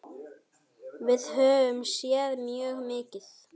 Við höfum séð mjög mikið.